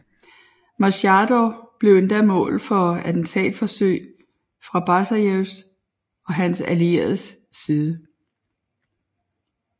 Maskhadov blev endda mål for attentatforsøg fra Basajevs og hans allieredes side